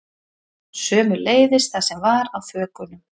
Sömuleiðis það sem var á þökunum